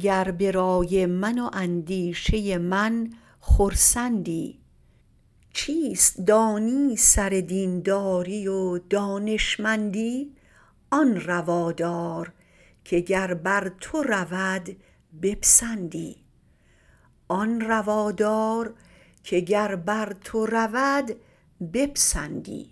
گر به رآی من و اندیشه ی من خرسندی چیست دانی سر دین داری و دانش مندی آن روا دار که گر بر تو رود بپسندی